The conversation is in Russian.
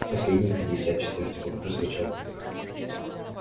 последний пятьдесят четвёртый вопрос звучал так